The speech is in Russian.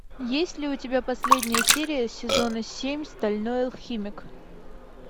есть ли у тебя последняя серия сезона семь стальной алхимик